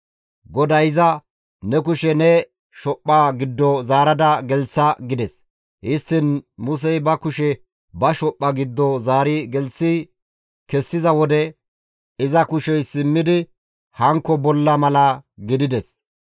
GODAY iza, «Ne kushe ne shophpha giddo zaara gelththa» gides. Histtiin Musey ba kushe ba shophpha giddo zaari gelththi kessiza wode iza kushey simmidi hankko bollaa mala gidides.